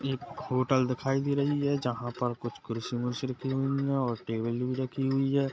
ये एक होटल दिखाई दे रही है जहाँ पर कुर्सी -उरसी रखी हुई है और टेबल भी रखी हुई हैं।